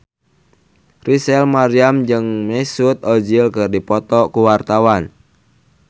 Rachel Maryam jeung Mesut Ozil keur dipoto ku wartawan